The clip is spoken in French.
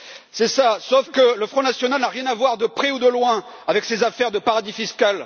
C'est ça, sauf que le Front national n'a rien à voir, de près ou de loin, avec ces affaires de paradis fiscal.